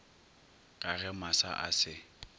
ka ge masa a se